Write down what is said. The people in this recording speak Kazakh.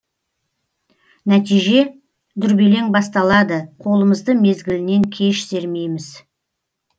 нәтиже дүрбелең басталады қолымызды мезгілінен кеш сермейміз